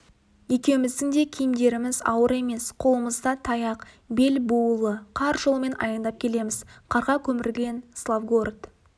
екеуміздің де киімдеріміз ауыр емес қолымызда таяқ бел буулы қар жолымен аяңдап келеміз қарға көмілген славгород